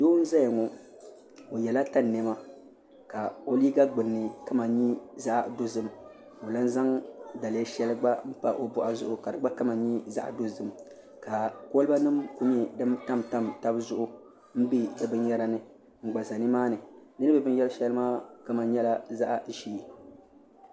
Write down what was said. Doo n azya ŋɔ o yiɛla tani nɛma ka o liiga gbuni ni kama yɛ zaɣi dozim ka o lan zaŋ daliya shɛli gba n pa o bɔɣu zuɣu ka di gba kama yɛ zaɣi dozim ka koliba nim ku yɛ dini tamtam taba zuɣu n bɛ di bini yara ni n gba za ni maani dini bɛ binyari shɛli ni maa kama nyɛla zaɣi zɛɛ .